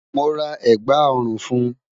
Mo ra ẹ̀gbá ọ̀rùn fún.